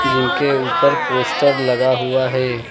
जिनके ऊपर पोस्टर लगा हुआ है।